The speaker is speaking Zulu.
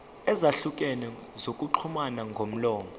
ezahlukene zokuxhumana ngomlomo